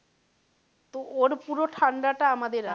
তো ওর পুরো ঠাণ্ডা টা আমাদের আসে,